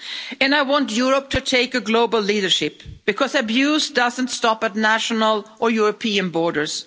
And I want Europe to take global leadership, because abuse doesn't stop at national or European borders.